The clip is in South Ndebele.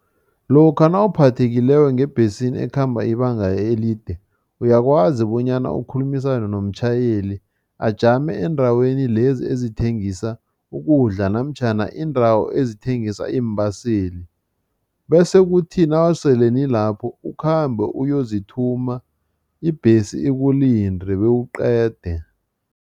Lokha nawuphathekileko ngebhesini ekhamba ibanga elide, uyakwazi bonyana ukhulumisane nomtjhayeli ajame endaweni lezi ezithengisa ukudla namtjhana iindawo ezithengisa iimbaseli bese kuthi nawusele nilapho, ukhambe uyozithuma, ibhesi ikulinde bewuqede.